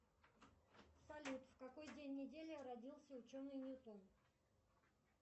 салют в какой день недели родился ученый ньютон